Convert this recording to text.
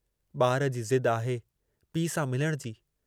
ॿार जी ज़िद आहे पीउ सां मिलण जी।